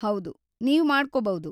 ಹೌದು, ನೀವ್‌ ಮಾಡ್ಕೋಬೌದು.